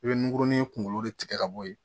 I bɛ nkuruni kunkolo de tigɛ ka bo yen